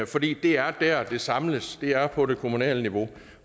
fordi det er der det samles det er på det kommunale niveau